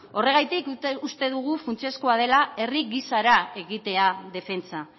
horregatik uste dugu funtsezkoa dela herri gisara egitea defentsa